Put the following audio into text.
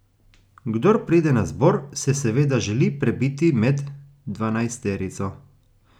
Kdor pride na zbor, se seveda želi prebiti med dvanajsterico.